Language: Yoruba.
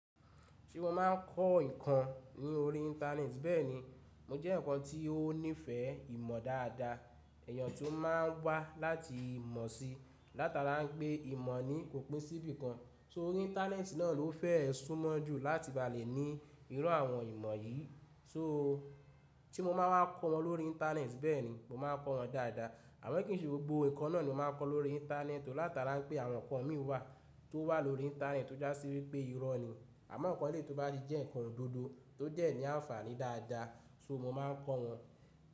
Se mo má ń kọ́ ǹkan ní orí internet bẹ́ẹ̀ni, mo jẹ́ eyan ǹkan tí ó nífẹ̀ẹ́ ìmọ̀ dáadáa, èèyàn tó má ń wá láti ìmọ̀ sí, látara pé ìmọ̀ ni kòpin sí bíi kan. Tórí internet, náà ló fẹ́ ẹ súnmọ́ jù láti ba lè ní irú àwọn ìmọ̀ yìí. Só, se o má wa kọ́ wọn lórí internet? Bẹ́ẹ̀ni, mo má a kọ́ wọn dáadáa. Àmọ́ kín n í ṣe gbogbo ǹkan, náà ni mo má a kọ́ lórí internet. Látara pé àwọn ǹkan mì wà, tó wà lórí internet tó já sí wípé irọ́ ni. Àmọ́ ǹkan ẹlẹ́yii jẹ́ ǹkan òdodo, tó dẹ́ ní àǹfààní dáadáa, so, mo má a ń kọ́ wọn.